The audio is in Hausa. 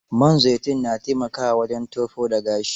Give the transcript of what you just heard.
Man zaitun na taimakawa wajen tofo da gashi.